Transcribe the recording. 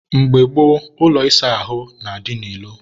mgbe gboo, ụlọ ịsa ahụ na-adị n'ilo.